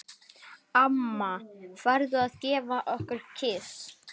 Af mikilli lyst.